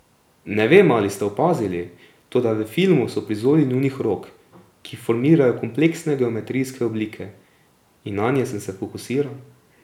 Ne vem, ali ste opazili, toda v filmu so prizori njunih rok, ki formirajo kompleksne geometrijske oblike, in nanje sem se fokusiral.